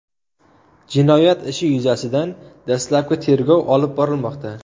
Jinoyat ishi yuzasidan dastlabki tergov olib borilmoqda.